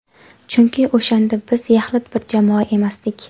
Chunki o‘shanda biz yaxlit bir jamoa emasdik.